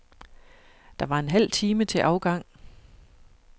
Der var en halv time til afgang.